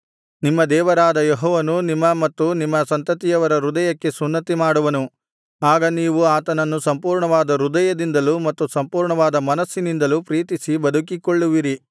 ನಿಮ್ಮ ದೇವರಾದ ಯೆಹೋವನು ನಿಮ್ಮ ಮತ್ತು ನಿಮ್ಮ ಸಂತತಿಯವರ ಹೃದಯಕ್ಕೆ ಸುನ್ನತಿಮಾಡುವನು ಆಗ ನೀವು ಆತನನ್ನು ಸಂಪೂರ್ಣವಾದ ಹೃದಯದಿಂದಲೂ ಮತ್ತು ಸಂಪೂರ್ಣವಾದ ಮನಸ್ಸಿನಿಂದಲೂ ಪ್ರೀತಿಸಿ ಬದುಕಿಕೊಳ್ಳುವಿರಿ